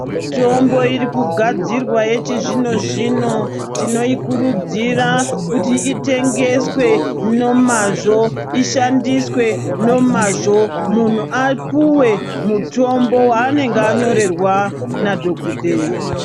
Mitombo iri kugadzirwa yechizvino zvino tinoikurudzira kuti itengeswe nemazvO ishandiswe nemazvo munhu apuwe mutombo waanenge anyorerwa nadhokodheya.